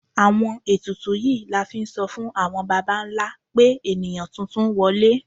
Àwọn etùtù yíí la n fí n so fun awọn bàbá ńlá pe eníyan titun wọle